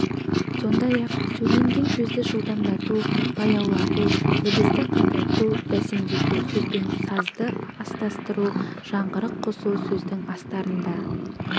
сондай-ақ сөйленген сөзді жылдамдату баяулату дыбысты қатайту бәсеңдету сөз бен сазды астастыру жаңғырық қосу сөздің астарында